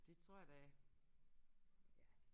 Det tror jeg da ja